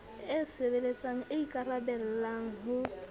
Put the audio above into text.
e sebeletsang e ikaraballang ho